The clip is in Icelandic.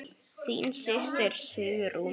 Þín systir Sigrún.